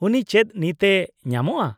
-ᱩᱱᱤ ᱪᱮᱫ ᱱᱤᱛ ᱮ ᱧᱟᱢᱚᱜᱼᱟ ?